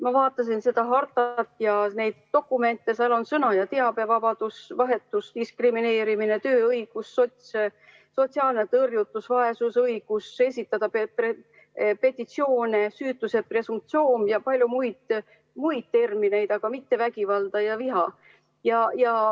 Ma vaatasin seda hartat ja neid teisi dokumente, seal on "sõnavabadus", "teabevabadus", "teabevahetus", "diskrimineerimine", "tööõigus", "sotsiaalne tõrjutus", "vaesus", "õigus esitada petitsioone", "süütuse presumptsioon" ja palju muid, aga mitte termineid "vägivald" ja "viha".